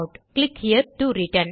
click here to return